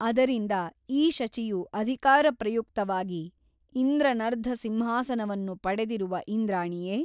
ಅದರಿಂದ ಈ ಶಚಿಯು ಅಧಿಕಾರಪ್ರಯುಕ್ತವಾಗಿ ಇಂದ್ರನರ್ಧ ಸಿಂಹಾಸನವನ್ನು ಪಡೆದಿರುವ ಇಂದ್ರಾಣಿಯೇ?